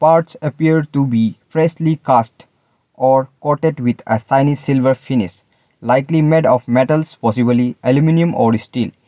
parts appear to be freshly cast or coated with a shiny silver finish likely made of metals possibly aluminium or steel.